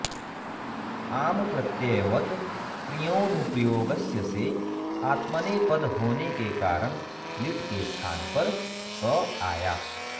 आम्प्रत्ययवत्कृञोऽनुप्रयोगस्य से आत्मनेपद होने के कारण लिट् के स्थान पर त आया